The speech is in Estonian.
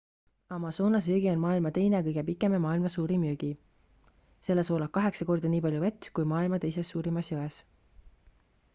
amazonase jõgi on maailma teine kõige pikem ja maailma suurim jõgi selles voolab kaheksa korda nii palju vett kui maailma teises suurimas jões